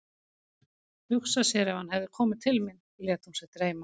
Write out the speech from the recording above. Hugsa sér ef hann hefði komið til mín, lét hún sig dreyma.